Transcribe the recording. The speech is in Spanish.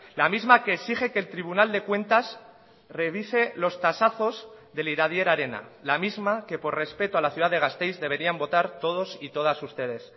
la misma que exige que el tribunal de cuentas revise los tasazos del iradier arena la misma que por respeto a la ciudad de gasteiz deberían votar todos y todas ustedes